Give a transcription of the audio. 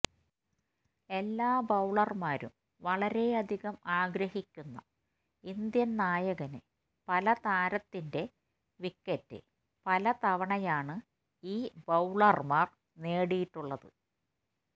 എല്ലാ ബൌളർമാരും വളരെയധികം ആഗ്രഹിക്കുന്ന ഇന്ത്യൻ നായകനെ പല താരത്തിറ്റെ വിക്കറ്റ് പല തവണയാണ് ഈ ബൌളർമാർ നേടിയിട്ടുള്ളത്